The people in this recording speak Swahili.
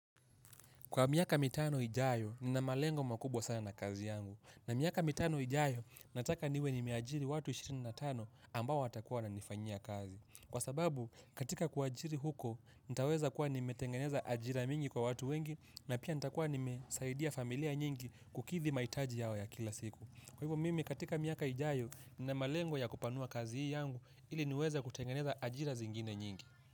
Kwa miaka mitano ijayo, nina malengo makubwa sana na kazi yangu. Na miaka mitano ijayo, nataka niwe nimeajiri watu 25 ambao watakuwa wananifanyia kazi. Kwa sababu, katika kuajiri huko, nitaweza kuwa nimetengeneza ajira mingi kwa watu wengi, na pia nita kuwa nimesaidia familia nyingi kukithi maitaji yao ya kila siku. Kwa hivyo, mimi katika miaka ijayo, nina malengo ya kupanua kazi yangu, ili niweza kutengeneza ajira zingine nyingi.